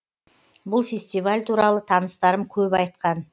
бұл фестиваль туралы таныстарым көп айтқан